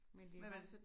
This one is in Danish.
Men det jo